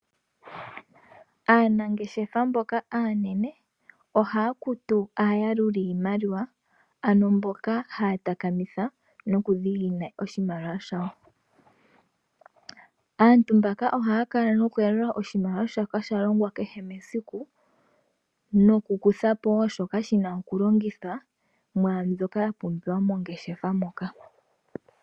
Aanangeshefa mboka aanene ohaya kutu aayaluli yiimaliwa, ano mboka haya takamitha oshimaliwa shawo. Aantu mbaka ohaya yalula oshimaliwa shoka shalongwa kehe mesiku noku kuthapo wo shoka shina okulongithwa mwaambyoka yapumbiwa mongeshefa moka.